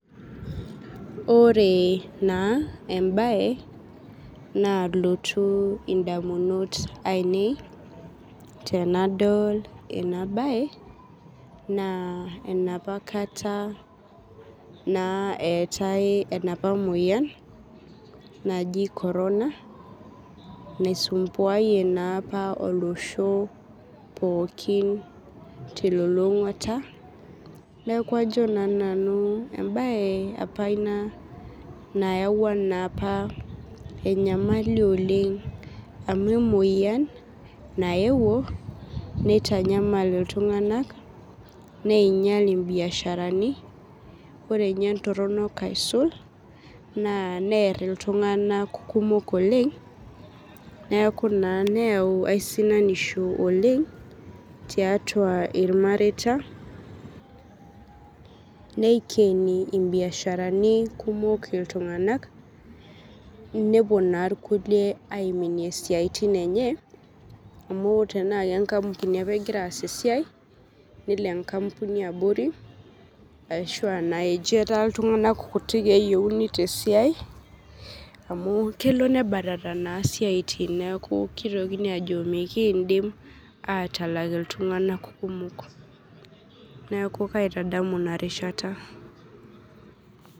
Oree naa embaye nalotu indamunot ainei tenadol ena baye naa enapakata naa eetai enapa muoyan naji korona naisumbuayie naapa olosho pookin telulung'ata. Neaku ajo naa nanu embaye apa ina nayauwa naapa enyamali oleng' amu emuoyian nayeuwo neitanyamal iltung'anak neeinyal imbiasharani, ore ninye ntorronok aisul naa nearr iltung'anak kumok oleng' neaku naa neyau aisinanishu oleng' tiatua ilmareita, neikeni imbiasharani kumok iltung'anak nepuo naa ilkulie aiminie isiaitin enye amu tenaake enkampuni apa egira aas esiai nelo enkampuni abori ashu naa ejo etaa iltung'anak kuti eyeuni tesiai amu kelo nebatata naa siaitin neaku keitokini ajo mekiindim aatalak iltung'anak kumok. Neaku kaitadamu inarishata.